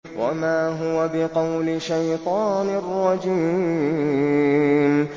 وَمَا هُوَ بِقَوْلِ شَيْطَانٍ رَّجِيمٍ